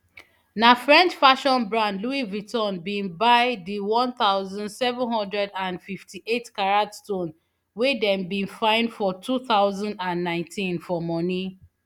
na french fashion brand louis vuitton bin buy di one thousand, seven hundred and fifty-eightcarat stone wey dem bin find for two thousand and nineteen for moni